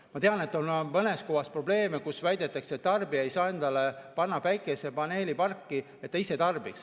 Ma tean, et mõnes kohas on probleeme, kus väidetakse, et tarbija ei saa panna päikesepaneeliparki üles enda tarbeks.